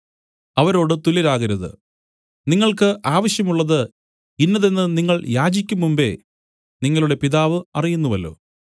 അവരോട് തുല്യരാകരുത് നിങ്ങൾക്ക് ആവശ്യമുള്ളത് ഇന്നതെന്ന് നിങ്ങൾ യാചിക്കും മുമ്പെ നിങ്ങളുടെ പിതാവ് അറിയുന്നുവല്ലോ